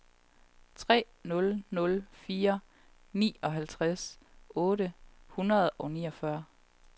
tre nul nul fire otteoghalvtreds otte hundrede og niogfyrre